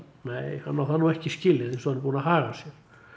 nei hann á það nú ekki skilið eins og hann er búinn að haga sér